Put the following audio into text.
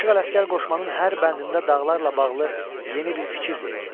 Aşıq Ələsgər qoşmanın hər bəndində dağlarla bağlı yeni bir fikir deyir.